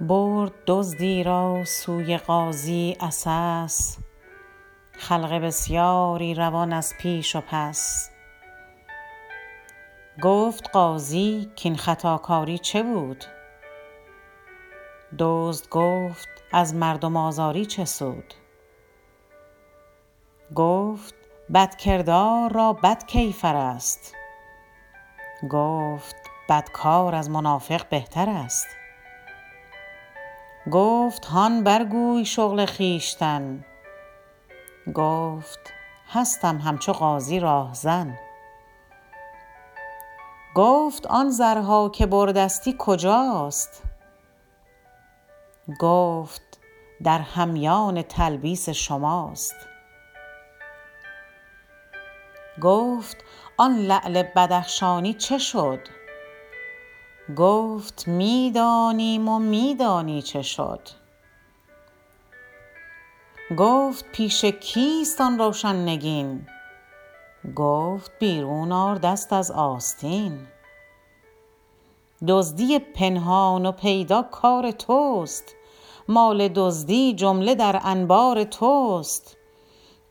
برد دزدی را سوی قاضی عسس خلق بسیاری روان از پیش و پس گفت قاضی کاین خطاکاری چه بود دزد گفت از مردم آزاری چه سود گفت بدکردار را بد کیفر است گفت بدکار از منافق بهتر است گفت هان بر گوی شغل خویشتن گفت هستم همچو قاضی راهزن گفت آن زرها که بردستی کجاست گفت در همیان تلبیس شماست گفت آن لعل بدخشانی چه شد گفت می دانیم و می دانی چه شد گفت پیش کیست آن روشن نگین گفت بیرون آر دست از آستین دزدی پنهان و پیدا کار توست مال دزدی جمله در انبار توست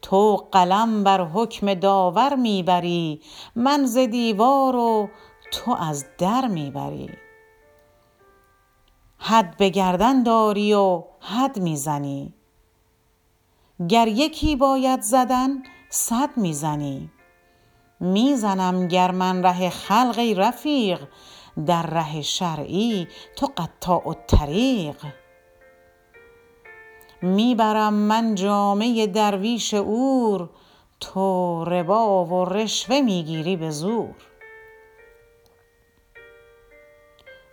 تو قلم بر حکم داور می بری من ز دیوار و تو از در می بری حد به گردن داری و حد می زنی گر یکی باید زدن صد می زنی می زنم گر من ره خلق ای رفیق در ره شرعی تو قطاع الطریق می برم من جامه درویش عور تو ربا و رشوه می گیری به زور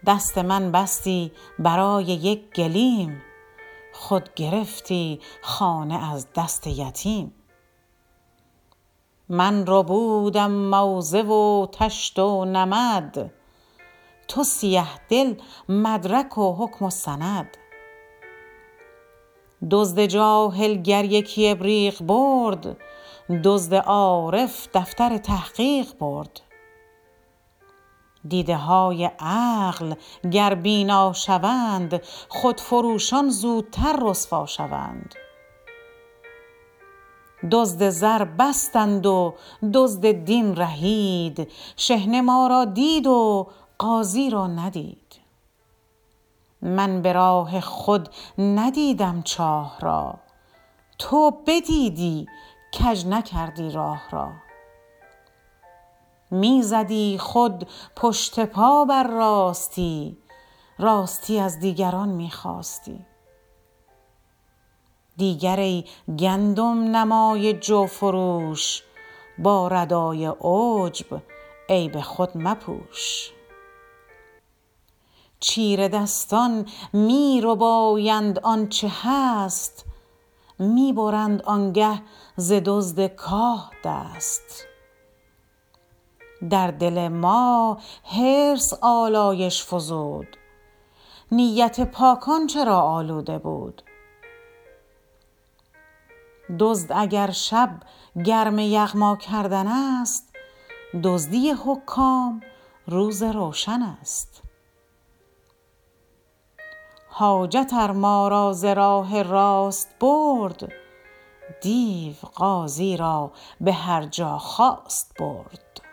دست من بستی برای یک گلیم خود گرفتی خانه از دست یتیم من ربودم موزه و طشت و نمد تو سیه دل مدرک و حکم و سند دزد جاهل گر یکی ابریق برد دزد عارف دفتر تحقیق برد دیده های عقل گر بینا شوند خود فروشان زودتر رسوا شوند دزد زر بستند و دزد دین رهید شحنه ما را دید و قاضی را ندید من براه خود ندیدم چاه را تو بدیدی کج نکردی راه را می زدی خود پشت پا بر راستی راستی از دیگران می خواستی دیگر ای گندم نمای جو فروش با ردای عجب عیب خود مپوش چیره دستان می ربایند آنچه هست می برند آنگه ز دزد کاه دست در دل ما حرص آلایش فزود نیت پاکان چرا آلوده بود دزد اگر شب گرم یغما کردن است دزدی حکام روز روشن است حاجت ار ما را ز راه راست برد دیو قاضی را به هرجا خواست برد